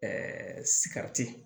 sikirɛti